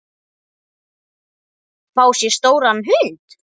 Fá sér stóran hund?